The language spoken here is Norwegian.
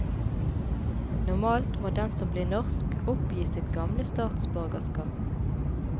Normalt må den som blir norsk, oppgi sitt gamle statsborgerskap.